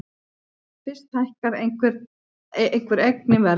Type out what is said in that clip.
Fyrst hækkar einhver eign í verði.